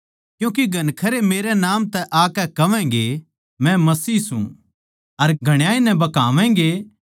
क्यूँके घणखरे मेरै नाम तै आकै कहवैगें मै मसीह सूं अर घणाए नै भकावैगें